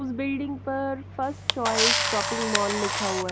उस बिल्डिंग पर first choice shopping mall लिखा हुआ है।